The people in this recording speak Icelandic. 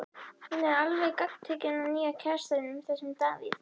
Hún er alveg gagntekin af nýja kærastanum, þessum Davíð.